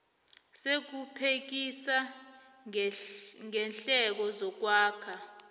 sokuphekisa ngeendleko zokwakha